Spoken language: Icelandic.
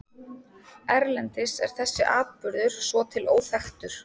Erlendis er þessi atburður svo til óþekktur.